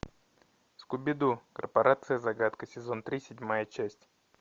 скуби ду корпорация загадка сезон три седьмая часть